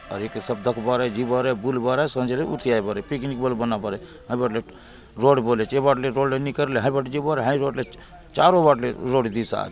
आउर एके सब दखबार आय जिबार आय बुलबार आय संज ले उठी आय बार आय पिकनिक बले बनाबार आय हाय बाटले रोड बले अछे ये बाटले रोड निकरले हाय बाट जिबार आय चारों बाटले रोड दिशा आय।